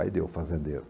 Aí deu, fazendeiro.